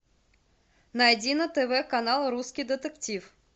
найди на тв канал русский детектив